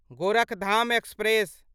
Gorakhdham express